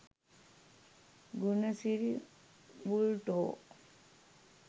Gunasiri බුල්ටෝ